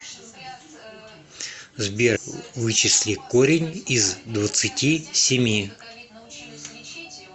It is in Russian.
сбер вычисли корень из двадцати семи